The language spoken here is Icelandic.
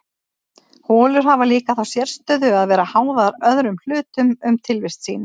holur hafa líka þá sérstöðu að vera háðar öðrum hlutum um tilvist sína